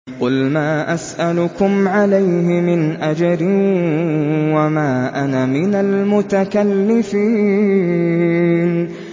قُلْ مَا أَسْأَلُكُمْ عَلَيْهِ مِنْ أَجْرٍ وَمَا أَنَا مِنَ الْمُتَكَلِّفِينَ